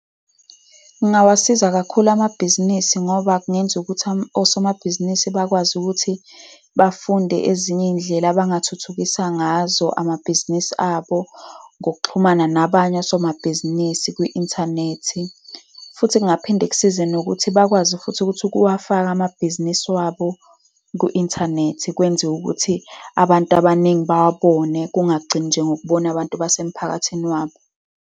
Kungawasiza kakhulu amabhizinisi, ngoba kungenza ukuthi osomabhizinisi bakwazi ukuthi bafunde ezinye iy'ndlela abangathuthukisa ngazo amabhizinisi abo ngokuxhumana nabanye osomabhizinisi kwi-inthanethi. Futhi kungaphinde kusize nokuthi bakwazi futhi ukuthi ukuwafaka amabhizinisi wabo ku-inthanethi, kwenziwe ukuthi abantu abaningi bawabone, kungagcini nje ngokubona abantu basemphakathini wabo.